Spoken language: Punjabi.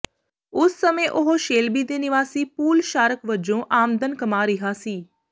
ਉਸ ਸਮੇਂ ਉਹ ਸ਼ੇਲਬੀ ਦੇ ਨਿਵਾਸੀ ਪੂਲ ਸ਼ਾਰਕ ਵਜੋਂ ਆਮਦਨ ਕਮਾ ਰਿਹਾ ਸੀ